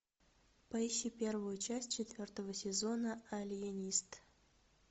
поищи первую часть четвертого сезона алиенист